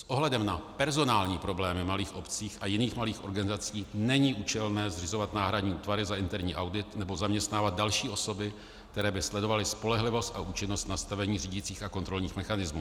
S ohledem na personální problémy malých obcí a jiných malých organizací není účelné zřizovat náhradní útvary za interní audit nebo zaměstnávat další osoby, které by sledovaly spolehlivost a účinnost nastavení řídicích a kontrolních mechanismů.